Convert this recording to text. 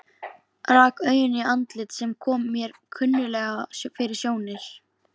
Rak augun í andlit sem kom mér kunnuglega fyrir sjónir.